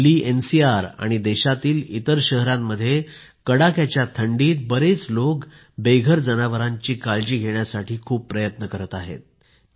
Delhi NCR आणि देशातील इतर शहरांमध्ये कडाक्याच्या थंडीत बरेच लोक बेघर जनावरांची काळजी घेण्यासाठी खूप प्रयत्न करीत आहेत